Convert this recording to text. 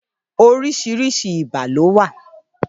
Óriṣiriṣi ibà ló wà